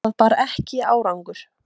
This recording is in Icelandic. Það bar ekki árangur.